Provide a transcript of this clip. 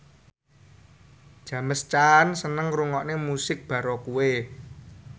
James Caan seneng ngrungokne musik baroque